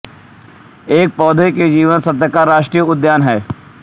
एक पौधों के जीवाश्म का राष्ट्रीय उद्यान है